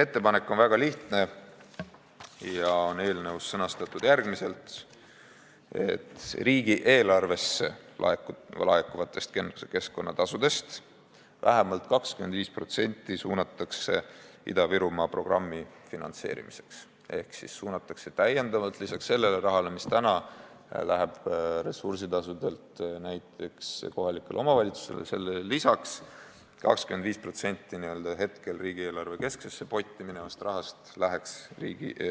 Ettepanek on väga lihtne ja on eelnõus sõnastatud järgmiselt: riigieelarvesse laekuvatest keskkonnatasudest vähemalt 25% suunatakse Ida-Virumaa programmi finantseerimiseks ehk lisaks sellele rahale, mis läheb ressursitasudelt näiteks kohalikele omavalitsustele, 25% n-ö hetkel riigieelarve kesksesse potti minevast rahast läheks